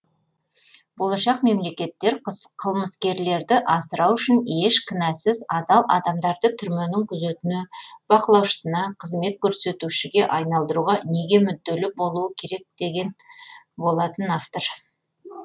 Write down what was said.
болашақ мемлекеттер қылмыскерлерді асырау үшін еш кінәсіз адал адамдарды түрменің күзетіне бақылаушысына қызмет көрсетушіге айналдыруға неге мүдделі болуы керек деген болатын автор